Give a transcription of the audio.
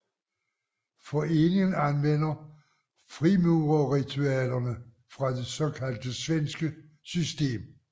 Foreningen anvender frimurerritualerne fra det såkaldte svenske system